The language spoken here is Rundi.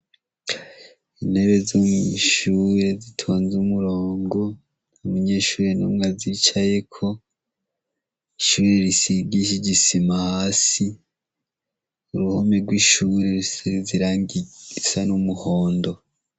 Intebe zomishure zitonze umurongo ntamunyeshurire n'umwe azicayeko ishuire risigishe ijisima hasi uruhomi rw'ishure risiri zirangiisa n'umuhondo.